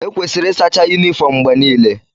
Ekwesịrị ịsacha yunifọọm mgbe niile.